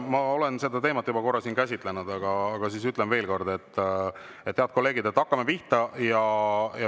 Ma olen seda teemat juba korra siin käsitlenud, aga ütlen siis veel kord, head kolleegid, et hakkame pihta.